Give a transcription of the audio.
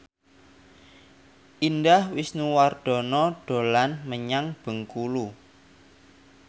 Indah Wisnuwardana dolan menyang Bengkulu